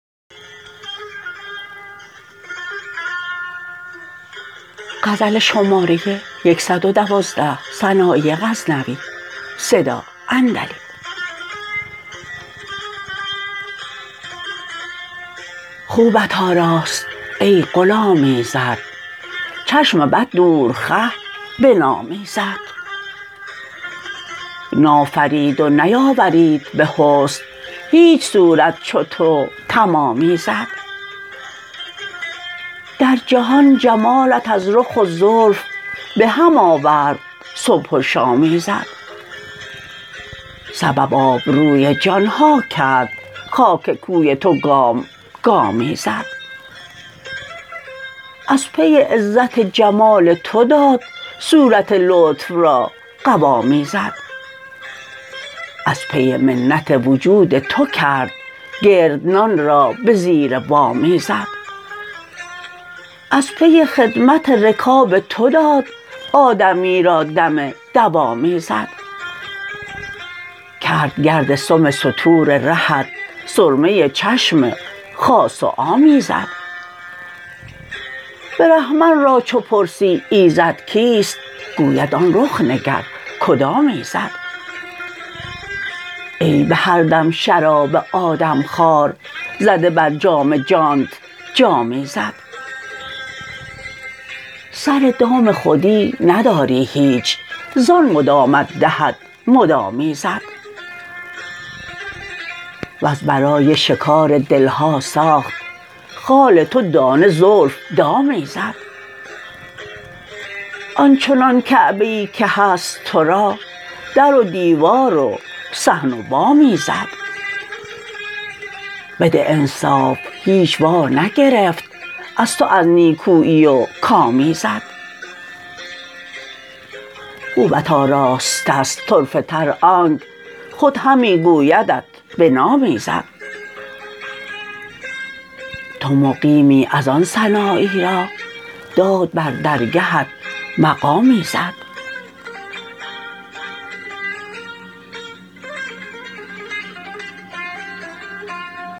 خوبت آراست ای غلام ایزد چشم بد دور خه به نام ایزد نافرید و نیاورید به حسن هیچ صورت چو تو تمام ایزد در جهان جمالت از رخ و زلف بهم آورد صبح و شام ایزد سبب آبروی جان ها کرد خاک کوی تو گام گام ایزد از پی عزت جمال تو داد صورت لطف را قوام ایزد از پی منت وجود تو کرد گردنان را به زیر وام ایزد از پی خدمت رکاب تو داد آدمی را دم دوام ایزد کرد گرد سم ستور رهت سرمه چشم خاص و عام ایزد برهمن را چو پرسی ایزد کیست گوید آن رخ نگر کدام ایزد ای به هر دم شراب آدم خوار زده بر جام جانت جام ایزد سر دام خودی نداری هیچ زان مدامت دهد مدام ایزد وز برای شکار دلها ساخت خال تو دانه زلف دام ایزد آنچنان کعبه ای که هست ترا در و دیوار و صحن و بام ایزد بده انصاف هیچ وا نگرفت از تو از نیکویی و کام ایزد خوبت آراسته ست طرفه تر آنک خود همی گویدت به نام ایزد تو مقیمی از آن سنایی را داد بر درگهت مقام ایزد